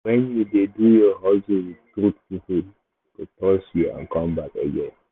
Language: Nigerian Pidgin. when you dey do your hustle with truth people go trust you and come back again.